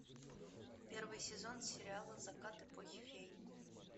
первый сезон сериала закат эпохи фей